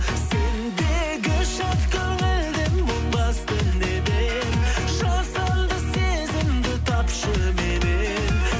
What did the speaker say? сендегі шат көңілді мұң басты неден жасанды сезімді тапшы меннен